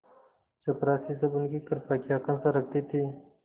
चपरासीसब उनकी कृपा की आकांक्षा रखते थे